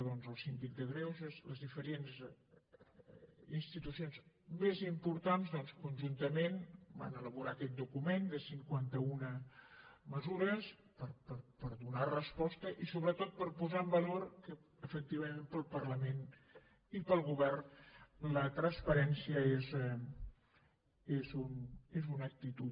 doncs el síndic de greuges les diferents institucions més importants conjuntament van elaborar aquest document de cinquanta una mesures per donar resposta i sobretot per posar en valor que efectivament pel parlament i pel govern la transparència és una actitud